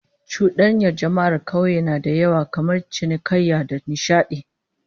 Cudanyar jama'ar kauye na da yawa kamar cinikayya da nishadi